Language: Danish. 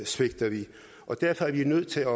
svigter vi og derfor er vi nødt til at